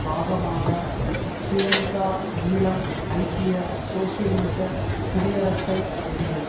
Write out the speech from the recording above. பாகமாக ஸ்ரீலங்காஈழம் ஐக்கிய சோசியலிச குடியரசை முடியும்